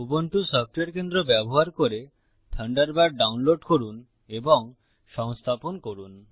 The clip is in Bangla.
উবুন্টু সফটওয়্যার কেন্দ্র ব্যবহার করে থান্ডারবার্ড ডাউনলোড করুন এবং সংস্থাপন করুন